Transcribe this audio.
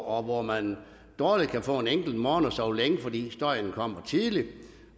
og hvor man dårligt kan få en enkelt morgen at sove længe fordi støjen kommer tidligt